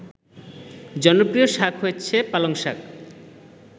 জনপ্রিয় শাক হচ্ছে পালংশাক